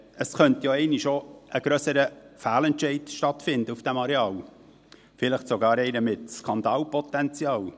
Es könnte ja auch einmal ein grösserer Fehlentscheid stattfinden auf diesem Areal, vielleicht sogar einer mit Skandalpotenzial.